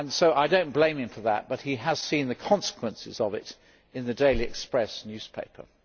I do not blame him for that but, he has seen the consequences of it in the Daily Express newspaper.